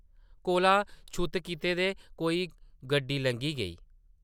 कोला छुत्त कीते दे कोई गड्डी लंघी गेई ।